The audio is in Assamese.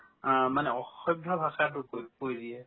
আ, মানে অসভ্য ভাষাতো কৈ~ কৈ দিয়ে